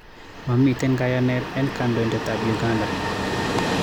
Mamiiten kayaneet en kandoinateetaab Uganda